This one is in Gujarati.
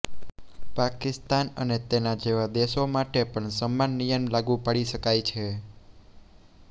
પાકિસ્તાન અને તેના જેવા દશો માટે પણ સમાન નિયમ લાગુ પાડી શકાય છે